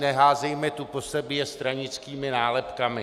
Neházejme tu po sobě stranickými nálepkami.